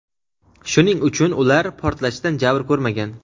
shuning uchun ular portlashdan jabr ko‘rmagan.